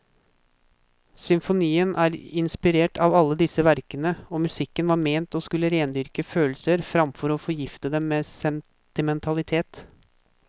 Symfonien er inspirert av alle disse verkene, og musikken var ment å skulle rendyrke følelser framfor å forgifte dem med sentimentalitet.